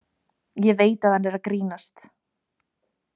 Ég veit að hann er að grínast.